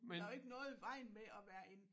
Der jo ikke noget i vejen med at være en